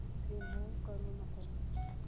remove करू नको